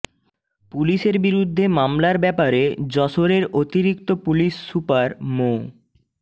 পুলিশের বিরুদ্ধে মামলার ব্যাপারে যশোরের অতিরিক্ত পুলিশ সুপার মো